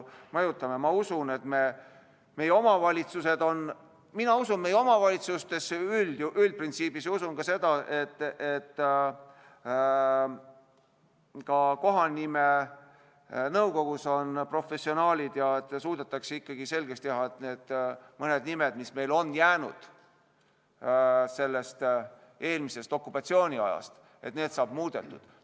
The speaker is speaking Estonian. Mina usun meie omavalitsustesse üldprintsiibis, usun sedagi, et ka kohanimenõukogus on professionaalid ja suudetakse ikkagi selgeks teha, et need mõned nimed, mis on jäänud eelmisest okupatsiooniajast, saavad muudetud.